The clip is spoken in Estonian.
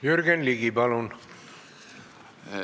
Jürgen Ligi, palun!